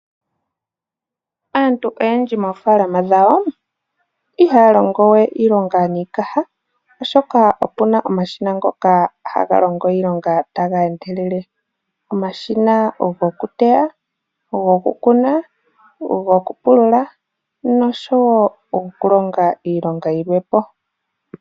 Aantu oyendji moofalama dhawo ihaya longowe iilonga niikaha oshoka opena omashina ngoka haga longo iilonga taga endelele omashina ogokuteya, ogo kukuna, ogo okupulula noshowo okulonga iilonga yilwe po.